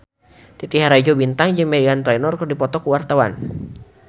Titi Rajo Bintang jeung Meghan Trainor keur dipoto ku wartawan